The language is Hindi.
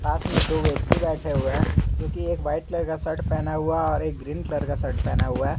पास में दो व्यक्ति बैठे हुए हैं जो कि एक वाइट कलर का शर्ट पहना हुआ है और एक ग्रीन कलर का शर्ट पहना हुआ है।